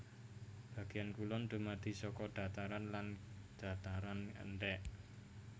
Bagéan kulon dumadi saka dhataran lan dhataran endhèk